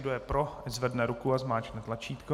Kdo je pro, ať zvedne ruku a zmáčkne tlačítko.